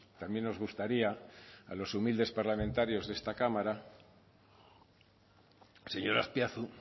también nos gustaría a los humildes parlamentarios de esta cámara señor azpiazu